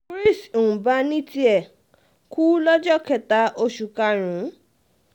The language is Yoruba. chris um mba ní tiẹ̀ kú lọ́jọ́ kẹta um oṣù karùn-ún